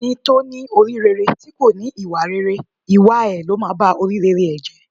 Ẹni tó ní orí rere tí kò ní ìwà rere, ìwà ẹ ló máa ba orí rere ẹ̀ jẹ́.